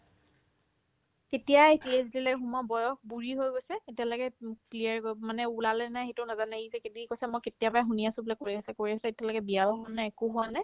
কেতিয়াই PhD লৈ সোমোৱা বয়স বুঢ়ি হৈ গৈছে এতিয়ালৈকে উম clear কৰিব মানে ওলালেনে নাই সেইটোও নাজানে সি কৈছে কিবাকিবি কৰিছে মই কেতিয়াবাই শুনি আছো বোলে কৰি আছে কৰি আছে এতিয়ালৈকে বিয়াও হোৱা নাই একো হোৱা নাই